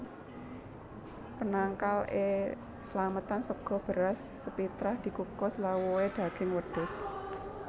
Penangkal é slametan sega beras sepitrah dikukus lawuhé daging wedhus